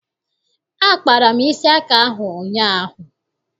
Akpara m isi aka ahụ ụnyaahụ.